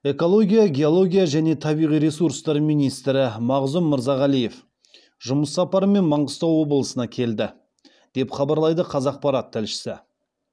экология геология және табиғи ресурстар министрі мағзұм мырзағалиев жұмыс сапарымен маңғыстау облысына келді деп хабарлайды қазақпарат тілшісі